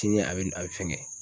Cini a be a be fɛnkɛ